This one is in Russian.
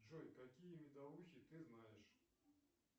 джой какие медовухи ты знаешь